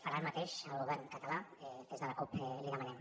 farà el mateix el govern català des de la cup li ho demanem